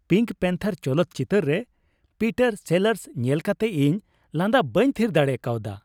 Pink panther ᱪᱚᱞᱚᱛ ᱪᱤᱛᱟᱹᱨ ᱨᱮ ᱯᱤᱴᱟᱨ ᱥᱮᱞᱟᱨᱥ ᱧᱮᱞ ᱠᱟᱛᱮ ᱤᱧ ᱞᱟᱸᱫᱟ ᱵᱟᱹᱧ ᱛᱷᱤᱨ ᱫᱟᱲᱮ ᱠᱟᱣᱫᱟ ᱾